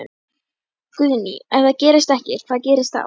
Guðný: Ef það gerist ekki, hvað gerist þá?